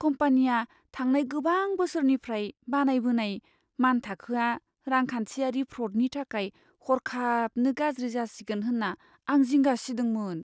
कम्पानिया थांनाय गोबां बोसोरनिफ्राय बानायबोनाय मानथाखोआ रांखान्थियारि फ्र'डनि थाखाय हरखाबनो गाज्रि जासिगोन होन्ना आं जिंगा सिदोंमोन।